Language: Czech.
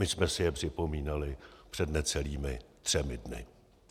My jsme si je připomínali před necelými třemi dny.